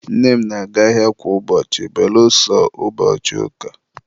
nne m na-aga ahịa kwa ụbọchị belụsọ ụbọchị ụka